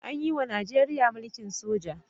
An yiwa Najeriya mulkin soja.